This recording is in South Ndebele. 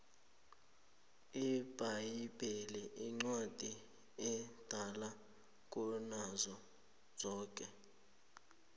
ibhayibheli incwadi edala kunazo zonke